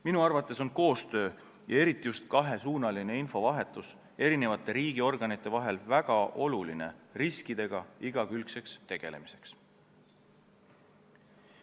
Minu arvates on koostöö ja eriti just kahesuunaline infovahetus eri riigiorganite vahel väga oluline, suutmaks riskidega igakülgselt tegeleda.